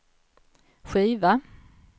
skiva